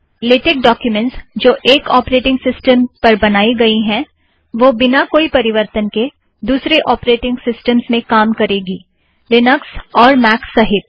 LaTeX documents जो एक operating system पर बनाई गईं हैं वही बिना कोई परिवर्तन के दुसरे औपरेटिंग सिस्टमस में काम करेगी लिनक्स और मैक सहित